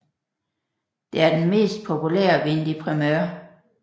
Det er den mest populære vin de primeur